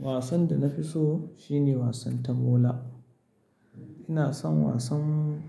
Wasan da na fi so shine wasan tamola. Ina son wasan